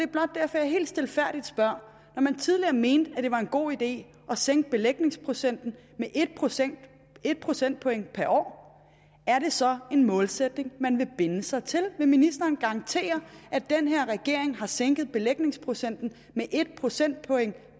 blot derfor jeg helt stilfærdigt spørger når man tidligere mente at det var en god idé at sænke belægningsprocenten med en procentpoint procentpoint per år er det så en målsætning man vil binde sig til vil ministeren garantere at den her regering har sænket belægningsprocenten med en procentpoint